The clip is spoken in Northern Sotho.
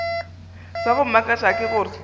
sa go mmakatša ke gore